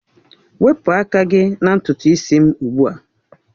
Wepụ aka gị na ntutu isi m ugbu a!